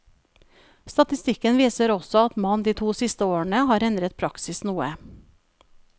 Statistikken viser også at man de to siste årene har endret praksis noe.